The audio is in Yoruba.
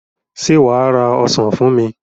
Ṣé wà á ra ọsàn fún mi?